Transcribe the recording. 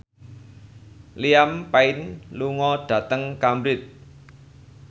Liam Payne lunga dhateng Cambridge